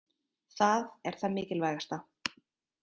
Það er það mikilvægasta.